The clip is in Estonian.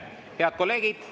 Head kolleegid!